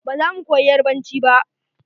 Ba za mu koyi yarbanci ba.